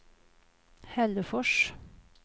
Hällefors